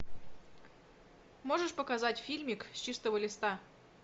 можешь показать фильмик с чистого листа